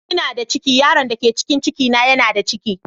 Ina da ciki, yaron da ke cikin cikin na yana da ciki